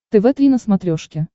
тв три на смотрешке